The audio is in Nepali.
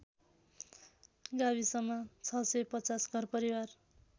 गाविसमा ६५० घरपरिवार